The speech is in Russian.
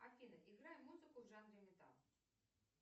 афина играй музыку в жанре металл